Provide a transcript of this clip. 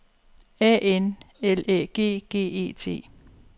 A N L Æ G G E T